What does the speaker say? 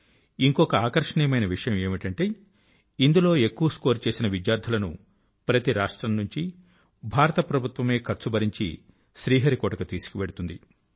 ఇంకా ఆకర్షణీయమైన విషయం ఏమిటంటే ఇందులో ఎక్కువ స్కోర్ చేసిన విద్యార్థుల కు ప్రతి రాష్ట్రం నుంచి భారత ప్రభుత్వమే ఖర్చు భరించి శ్రీహరికోట కు తీసుకు వెళుతుంది